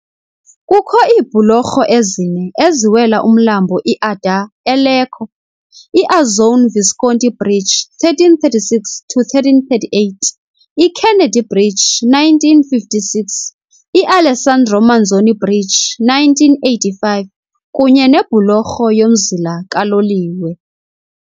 Kukho iibhulorho ezine eziwela umlambo iAdda eLecco, iAzzone Visconti Bridge, 1336-1338, iKennedy Bridge, 1956, iAlessandro Manzoni Bridge, 1985, kunye nebhulorho yomzila kaloliwe.